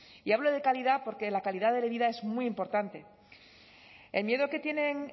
y hablo de calidad porque la calidad de vida es muy importante el miedo que tienen